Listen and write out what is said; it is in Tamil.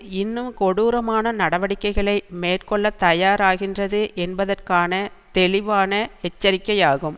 இன்னும் கொடூரமான நடவடிக்கைகளை மேற்கொள்ள தயாராகின்றது என்பதற்கான தெளிவான எச்சரிக்கையாகும்